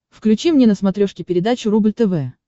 включи мне на смотрешке передачу рубль тв